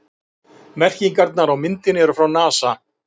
Merkingarnar á myndinni eru frá NASA.